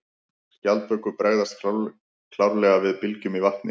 Skjaldbökur bregðast klárlega við bylgjum í vatni.